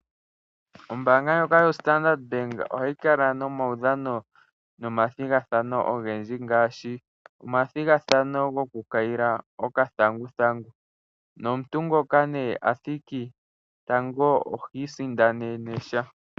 Ombaanga ndjoka yoStandard Bank ohayi kala nomawudhano nomathigathano ogendji ngaashi omathigathano gokukayila okathanguthangu nomuntu ngoka nee athiki tango ohi isindanene sha .